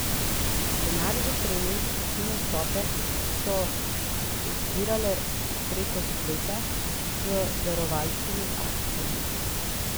Denar za trening in nastope so zbirale prek spleta z darovalskimi akcijami.